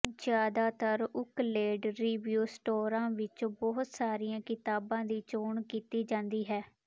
ਜ਼ਿਆਦਾਤਰ Oakland review ਸਟੋਰਾਂ ਵਿੱਚੋਂ ਬਹੁਤ ਸਾਰੀਆਂ ਕਿਤਾਬਾਂ ਦੀ ਚੋਣ ਕੀਤੀ ਜਾਂਦੀ ਹੈ